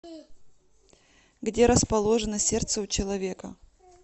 где расположено сердце у человека